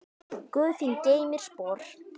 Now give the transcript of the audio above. Guð þín geymi spor.